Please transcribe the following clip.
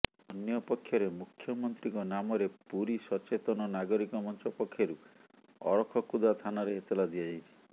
ଅନ୍ୟପକ୍ଷରେ ମୁଖ୍ୟମନ୍ତ୍ରୀଙ୍କ ନାମରେ ପୁରୀ ସଚେତନ ନାଗରିକ ମଞ୍ଚ ପକ୍ଷରୁ ଅରଖକୁଦା ଥାନରେ ଏତଲା ଦିଆ ଯାଇଛି